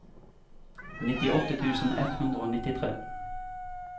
nittiåtte tusen ett hundre og nittitre